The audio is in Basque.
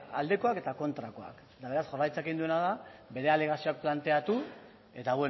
aldekoak eta kontrakoak eta beraz jaurlaritzak egin duena da bere alegazioak planteatu eta